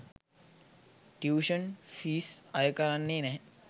tuition fees අයකරන්නේ නැහැ